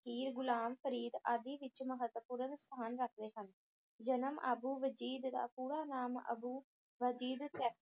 ਫ਼ਕੀਰ, ਗੁਲਾਮ ਫਰੀਦ ਆਦਿ ਵਿੱਚ ਮਹੱਤਵਪੂਰਨ ਸਥਾਨ ਰੱਖਦੇ ਹਨ। ਜਨਮ ਅਬੂ ਵਜੀਦ ਦਾ ਪੂਰਾ ਨਾਮ ਅਬੂ ਬਾਯਜੀਦ ਤੈ~